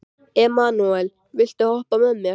Emanúela, viltu hoppa með mér?